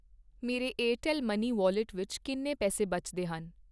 ਮੇਰੇ Airtel money wallet ਵਿੱਚ ਕਿੰਨੇ ਪੈਸੇ ਬਚਦੇ ਹਨ?